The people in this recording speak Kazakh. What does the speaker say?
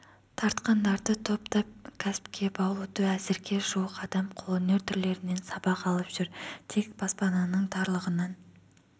тартқандарды топтап кәсіпке баулуда әзірге жуық адам қолөнер түрлерінен сабақ алып жүр тек баспананың тарлығынан